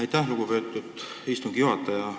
Aitäh, lugupeetud istungi juhataja!